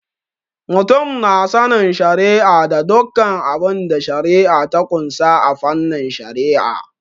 Mutum na sanin shari'a da dukkan abinda shari'a ta ƙunsa a fannin Shari'a.